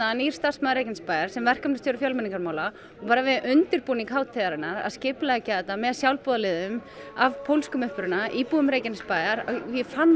nýr starfsmaður Reykjanesbæjar sem verkefnastjóri fjölmenningarmála og bara við undirbúning hátíðarinnar að skipuleggja þetta með sjálfboðaliðum af pólskum uppruna íbúum Reykjanesbæjar ég fann